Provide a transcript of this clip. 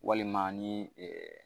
Walima ni